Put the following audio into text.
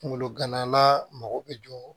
Kunkolo ganala mago bɛ jɔ